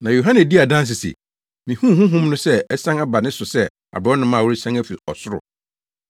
Na Yohane dii adanse se, “Mihuu Honhom no sɛ asian aba ne so sɛ aborɔnoma a ɔresian afi ɔsoro.